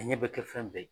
A ɲɛ bɛ kɛ fɛn bɛɛ ye